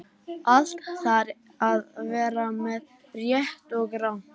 Allt þarf að vera með, rétt og rangt.